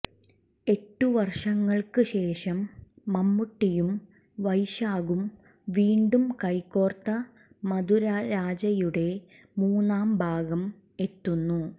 എട്ടു വര്ഷങ്ങള്ക്ക് ശേഷം മമ്മൂട്ടിയും വൈശാഖും വീണ്ടും കൈ കോര്ത്ത മധുര രാജയുടെ മൂന്നാം ഭാഗം എത്തുന്നു